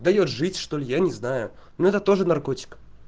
даёт жить что ли я не знаю но это тоже наркотик